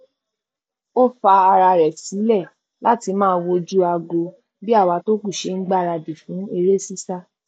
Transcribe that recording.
ó fa ara rẹ sílẹ láti máa wojú aago bí àwa tó kù ṣe n gbáradì fún eré sísá